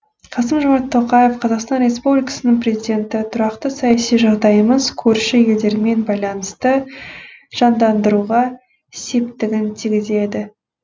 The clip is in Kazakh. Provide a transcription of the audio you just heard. қасым жомарт тоқаев қазақстан республикасының президенті тұрақты саяси жағдайымыз көрші елдермен байланысты жандандыруға септігін тигізеді